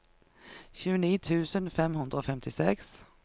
tjueni tusen fem hundre og femtiseks